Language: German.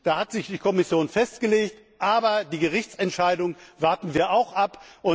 Darauf hat sich die Kommission festgelegt, aber die Gerichtsentscheidung warten wir auch ab.